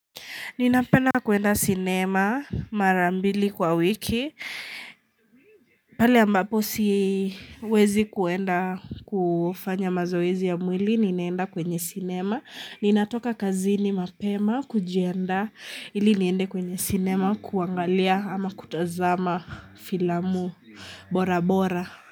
Ninapenda kuenda sinema mara mbili kwa wiki. Pale ambapo siwezi kuenda kufanya mazoezi ya mwili. Ninaenda kwenye sinema. Ninatoka kazini mapema kujiandaa ili niende kwenye sinema kuangalia ama kutazama filamu bora bora.